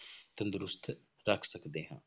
ਤੰਦਰੁਸਤ ਰੱਖ ਸਕਦੇ ਹਾਂ।